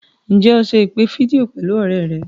Ǹjẹ́ o se ìpè fídíò pẹ̀lú ọ̀rẹ́ rẹ̀?